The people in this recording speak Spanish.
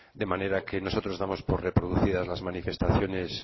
de manera que nosotros damos por reproducidas las manifestaciones